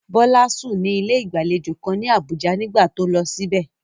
Bola sùn ní ilé ìgbàlejò kan ní Abuja nígbà tó lọ síbẹ̀.